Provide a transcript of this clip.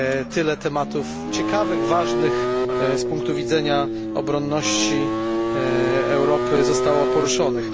Tyle tematów ciekawych, ważnych z punktu widzenia obronności Europy zostało poruszonych.